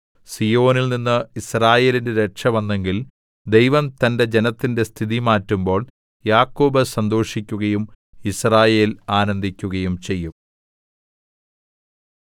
സീയോനിൽനിന്ന് യിസ്രായേലിന്റെ രക്ഷ വന്നെങ്കിൽ ദൈവം തന്റെ ജനത്തിന്റെ സ്ഥിതി മാറ്റുമ്പോൾ യാക്കോബ് സന്തോഷിക്കുകയും യിസ്രായേൽ ആനന്ദിക്കുകയും ചെയ്യും